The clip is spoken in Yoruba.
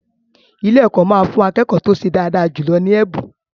Ilé-ẹ̀kọ́ máa fún akẹ́kọ̀ọ́ tó ṣe dáadáa jù lọ ní ẹ̀bùn.